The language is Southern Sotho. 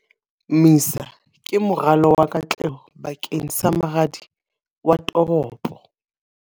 MISA ke moralo wa katleho bakeng sa moradi wa toropo.